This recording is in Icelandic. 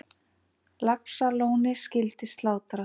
Laxalóni skyldi slátrað.